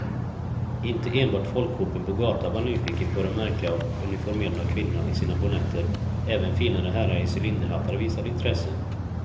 Inte enbart folkhopen på gatan var nyfiken på de märkliga och uniformerade kvinnorna i sina bonnetter, även finare herrar i cylinderhattar visade intresse.